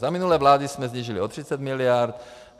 Za minulé vlády jsme snížili o 30 miliard.